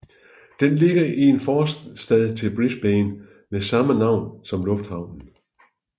Den ligger i en forstad til Brisbane med samme navn som lufthavnen